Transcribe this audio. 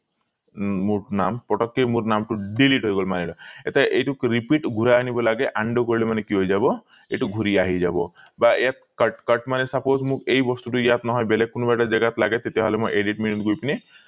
মো মোৰ নাম পতকে মোৰ নামটো delete হৈ গল মানি লোৱা এতিয়া এইটো repeat ঘূৰাই আনিব লাগে undo কৰিলে মানে কি হৈ যাব এইটো ঘূৰি আহি যাব বা ইয়াত cut cut মানে suppose মোক এই বস্তুটো ইয়াত নহয় বেলেগ কোনোবা এটা জেগাত লাগে তেতিয়া হলে মই edit menu ত গৈ পিনি